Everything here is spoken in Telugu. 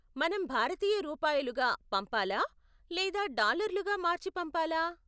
మనం భారతీయ రూపాయలుగా పంపాలా, లేదా డాలర్లుగా మార్చి పంపాలా?